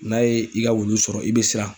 N'a ye i ka wulu sɔrɔ i be siran